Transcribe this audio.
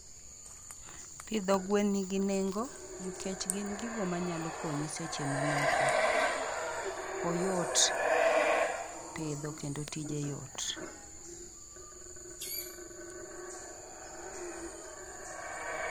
Pidho gwen nigi nengo nikech gin gigo manyalo konyi seche mimoko. Oyot pidho kendo tije yot.